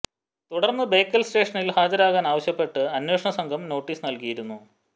തുടർന്ന് ബേക്കൽ സ്റ്റേഷനിൽ ഹാജരാകാൻ ആവശ്യപ്പെട്ട് അന്വേഷണ സംഘം നോട്ടിസ് നൽകിയിരുന്നു